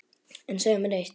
En segðu mér eitt